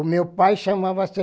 O meu pai chamava-se